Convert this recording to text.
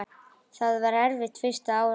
Það var erfitt fyrsta árið.